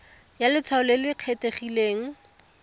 ya letshwao le le kgethegileng